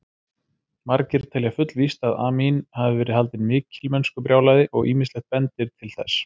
Margir telja fullvíst að Amín hafi verið haldinn mikilmennskubrjálæði og ýmislegt bendir til þess.